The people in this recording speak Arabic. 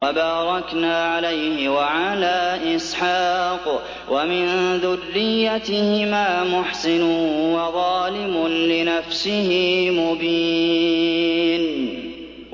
وَبَارَكْنَا عَلَيْهِ وَعَلَىٰ إِسْحَاقَ ۚ وَمِن ذُرِّيَّتِهِمَا مُحْسِنٌ وَظَالِمٌ لِّنَفْسِهِ مُبِينٌ